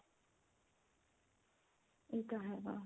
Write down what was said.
ਇਹ ਤਾਂ ਹੈ